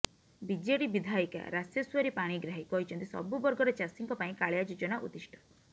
BJD ବିଧାୟିକା ରାସେଶ୍ୱରୀ ପାଣିଗ୍ରାହୀ କହିଛନ୍ତି ସବୁ ବର୍ଗର ଚାଷୀଙ୍କ ପାଇଁ କାଳିଆ ଯୋଜନା ଉଦ୍ଦିଷ୍ଟ